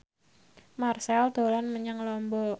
Marchell dolan menyang Lombok